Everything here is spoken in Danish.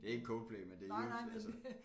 Det ikke Coldplay men det er så altså